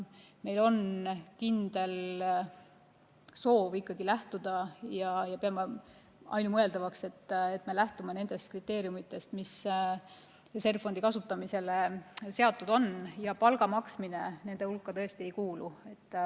Meil on kindel soov ikkagi lähtuda, ja me peame seda ka ainumõeldavaks, nendest kriteeriumidest, mis reservfondi kasutamisele on seatud, ja palga maksmine nende hulka ei kuulu.